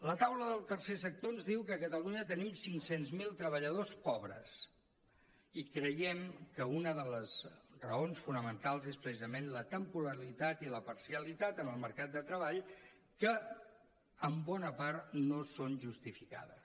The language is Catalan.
la taula del tercer sector ens diu que a catalunya tenim cinc cents mil treballadors pobres i creiem que una de les raons fonamentals és precisament la temporalitat i la parcialitat en el mercat de treball que en bona part no són justificades